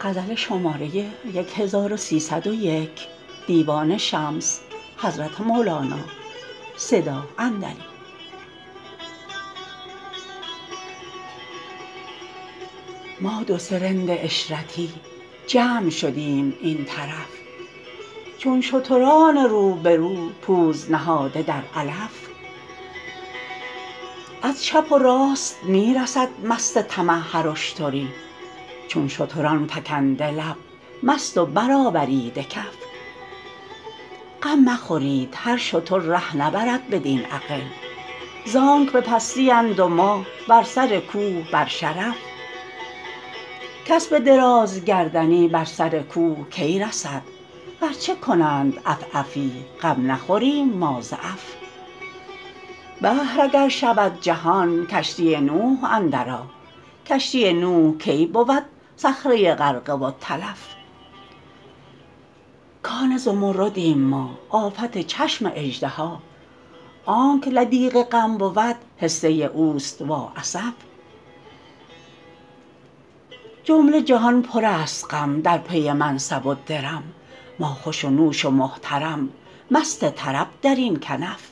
ما دو سه رند عشرتی جمع شدیم این طرف چون شتران رو به رو پوز نهاده در علف از چپ و راست می رسد مست طمع هر اشتری چون شتران فکنده لب مست و برآوریده کف غم مخورید هر شتر ره نبرد بدین اغل زانک به پستی اند و ما بر سر کوه بر شرف کس به درازگردنی بر سر کوه کی رسد ورچه کنند عف عفی غم نخوریم ما ز عف بحر اگر شود جهان کشتی نوح اندرآ کشتی نوح کی بود سخره غرقه و تلف کان زمردیم ما آفت چشم اژدها آنک لدیغ غم بود حصه اوست وااسف جمله جهان پرست غم در پی منصب و درم ما خوش و نوش و محترم مست طرب در این کنف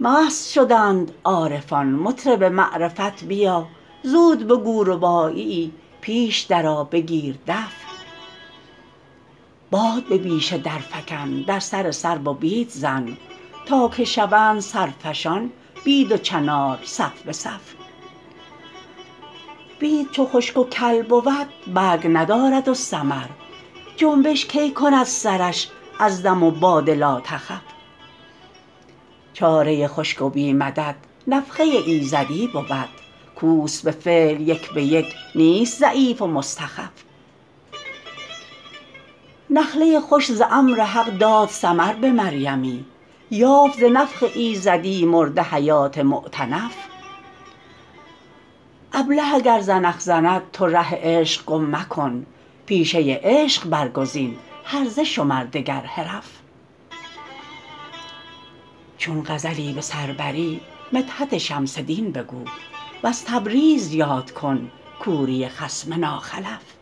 مست شدند عارفان مطرب معرفت بیا زود بگو رباعیی پیش درآ بگیر دف باد به بیشه درفکن در سر سرو و بید زن تا که شوند سرفشان بید و چنار صف به صف بید چو خشک و کل بود برگ ندارد و ثمر جنبش کی کند سرش از دم و باد لاتخف چاره خشک و بی مدد نفخه ایزدی بود کوست به فعل یک به یک نیست ضعیف و مستخف نخله خشک ز امر حق داد ثمر به مریمی یافت ز نفخ ایزدی مرده حیات مؤتنف ابله اگر زنخ زند تو ره عشق گم مکن پیشه عشق برگزین هرزه شمر دگر حرف چون غزلی به سر بری مدحت شمس دین بگو وز تبریز یاد کن کوری خصم ناخلف